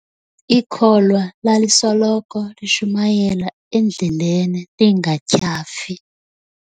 Ikholwa lalisoloko lishumayela endleleni lingatyhafi.